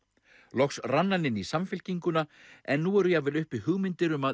loks rann hann inn í Samfylkinguna en nú eru jafnvel uppi hugmyndir um að